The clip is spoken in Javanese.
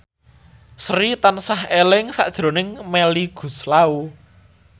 Sri tansah eling sakjroning Melly Goeslaw